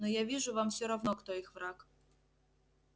но я вижу вам всё равно кто их враг